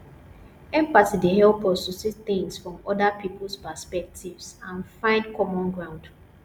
empathy dey help us to see things from oda peoples perspectives and find common ground